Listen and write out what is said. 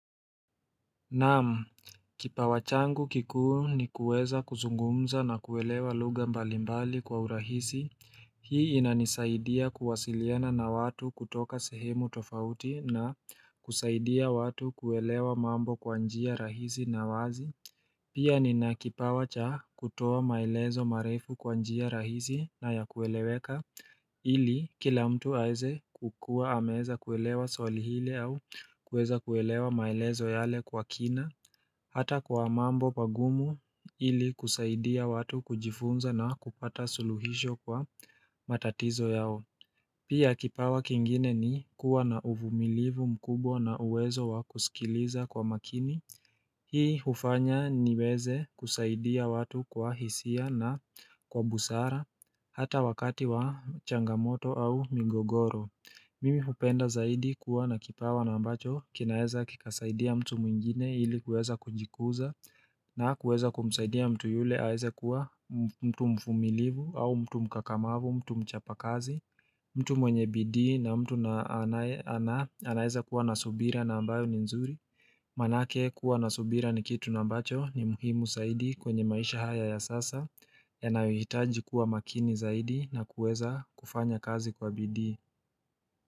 Naam, kipawa changu kikuu ni kuweza kuzungumza na kuelewa lugha mbali mbali kwa urahisi Hii inanisaidia kuwasiliana na watu kutoka sehemu tofauti na kusaidia watu kuelewa mambo kwa njia rahisi na wazi. Pia nina kipawa cha kutoa maelezo marefu kwa njia rahisi na ya kueleweka ili kila mtu aweze kukua ameweza kuelewa swali lile au kuweza kuelewa maelezo yale kwa kina. Hata kwa mambo magumu ili kusaidia watu kujifunza na kupata suluhisho kwa matatizo yao Pia kipawa kingine ni kuwa na uvumilivu mkubwa na uwezo wa kusikiliza kwa makini Hii hufanya niweze kusaidia watu kwa hisia na kwa busara Hata wakati wa changamoto au migogoro Mimi hupenda zaidi kuwa na kipawa na ambacho kinaweza kikasaidia mtu mwingine ili kuweza kujikuza na kuweza kumsaidia mtu yule aweze kuwa mtu mvumilivu au mtu mkakamavu mtu mchapa kazi mtu mwenye bidii na mtu anaweza kuwa na subira na ambayo ni nzuri Manake kuwa na subira ni kitu na ambacho ni muhimu zaidi kwenye maisha haya ya sasa yanayohitaji kuwa makini zaidi na kuweza kufanya kazi kwa bidii.